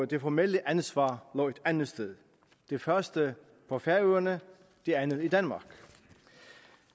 det formelle ansvar lå et andet sted det første på færøerne det andet i danmark